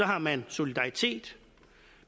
har man solidaritet